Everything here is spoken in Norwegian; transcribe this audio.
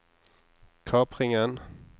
kapringen